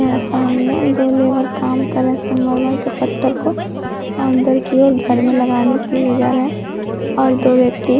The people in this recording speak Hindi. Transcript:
यहाँ सामने दो लेबर काम कर रहा है संगमरमर के पत्थर को अंदर की ओर घर में लगाने के लिए जा रहा है और दो व्यक्ति--